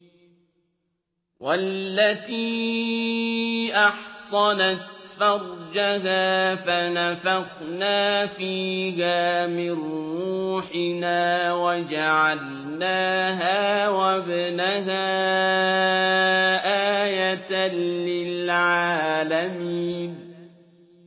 وَالَّتِي أَحْصَنَتْ فَرْجَهَا فَنَفَخْنَا فِيهَا مِن رُّوحِنَا وَجَعَلْنَاهَا وَابْنَهَا آيَةً لِّلْعَالَمِينَ